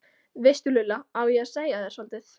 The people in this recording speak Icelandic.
veistu Lulla, á ég að segja þér soldið?